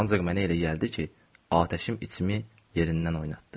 Ancaq mənə elə gəldi ki, atəşim içimi yerindən oynatdı.